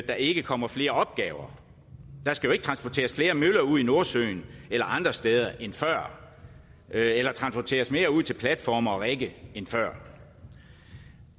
der ikke kommer flere opgaver der skal jo ikke transporteres flere møller ud i nordsøen eller andre steder end før eller transporteres mere ud til platforme og rigge end før